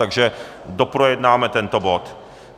Takže doprojednáme tento bod.